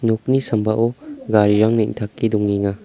nokni sambao garirang neng·take dongenga.